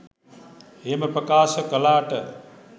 එහෙම ප්‍රකාශ කළාට